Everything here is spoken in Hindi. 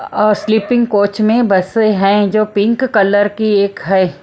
और स्लिपिंग कोच में बसे हैं जो पिंक कलर की एक है।